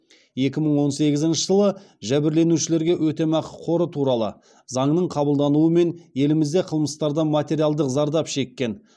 екі мың он сегізінші жылы жәбірленушілерге өтемақы қоры туралы заңның қабылдануымен елімізде қылмыстардан материалдық зардап шеккен